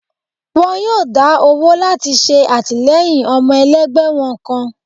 wọn yóò dá owó lati ṣe atilẹyin ọmọ elẹgbẹ wọn kán